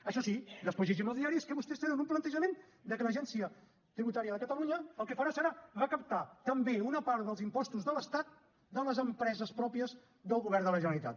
això sí després llegim als diaris que vostès tenen un plantejament de que l’agència tributària de catalunya el que farà serà recaptar també una part dels impostos de l’estat de les empreses pròpies del govern de la generalitat